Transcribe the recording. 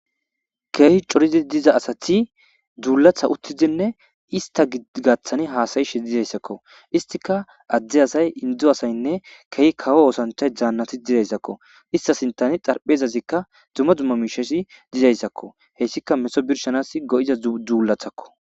keehi coridi diza asati dzuulatha uttizinne ista gigaththani haasayishe dizayssakko istika adde asay indu asaynne kehi kawo oosanchay dzaannati didayssakko ista sintani xarphezazikka dzuma dzumma miishesi dizayssakko heyssika meso birshanas go7iza dzuulathakko